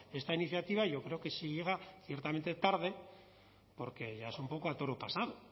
esta iniciativa yo creo que sí llega ciertamente tarde porque ya es un poco a toro pasado